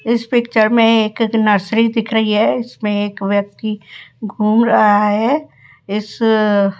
इस पिक्चर में एक नर्सरी दिख रही है इसमें एक व्यक्ति घूम रहा है इस --